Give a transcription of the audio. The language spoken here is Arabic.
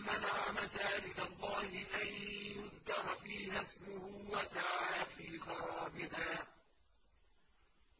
مَّنَعَ مَسَاجِدَ اللَّهِ أَن يُذْكَرَ فِيهَا اسْمُهُ وَسَعَىٰ فِي خَرَابِهَا ۚ